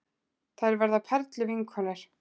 Þær verða perluvinkonur.